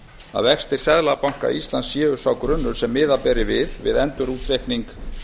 að vextir seðlabanka íslands séu sá grunnur sem miða beri við við endurútreikning